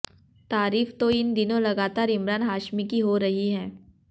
तारीफ तो इन दिनों लगातार इमरान हाशमी की हो रही है